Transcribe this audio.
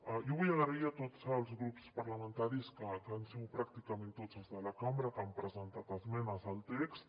jo vull donar les gràcies a tots els grups parlamentaris que han sigut pràcticament tots els de la cambra els que han presentat esmenes al text